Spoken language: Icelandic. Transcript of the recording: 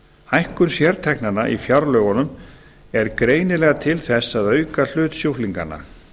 hækkun sérteknanna í fjárlögunum er greinilega til þess að auka hlut sjúklinganna